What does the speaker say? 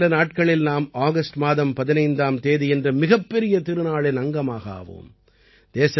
இன்னும் சில நாட்களில் நாம் ஆகஸ்ட் மாதம் 15ஆம் தேதி என்ற மிகப்பெரிய திருநாளின் அங்கமாக ஆவோம்